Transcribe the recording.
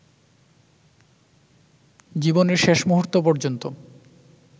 জীবনের শেষ মুহূর্ত পর্যন্ত